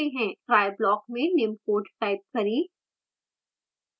try block में निम्न code type करें